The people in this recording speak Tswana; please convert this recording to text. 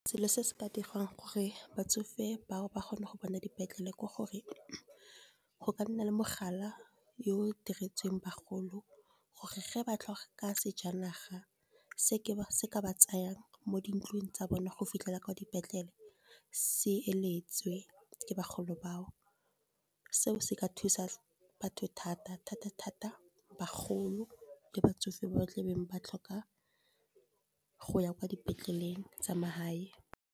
Selo se se ka diriwang ke gore batsofe ba o ba kgone go bona dipetlele, ke gore go ka nna le mogala yo diretsweng bagolo, gore ge ba tloga ka sejanaga se se ka ba tsayang mo dintlong tsa bone, go fitlhela kwa dipetlele SE eletswe ke bagolo ba o. Seo se ka thusa batho thata-thata-thata, bagolo le batsofe ba ba tla be ba tlhoka go ya kwa dipetleleng tsa mahae.